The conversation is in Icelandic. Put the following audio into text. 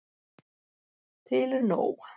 Til er nóg.